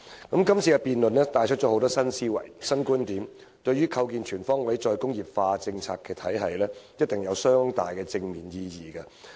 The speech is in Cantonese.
今次議案辯論帶出了很多新思維、新觀點，對於構建全方位"再工業化"政策體系定有相當的正面意義。